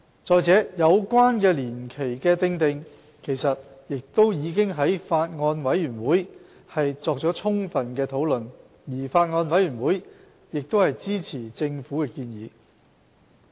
再者，有關年期的訂定，其實亦已經在法案委員會作了充分討論，而法案委員會亦支持政府的建議。